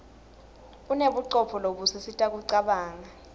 unebucopho lobusisita kucabanga